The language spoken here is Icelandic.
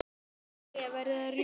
Jæja, verð að rjúka.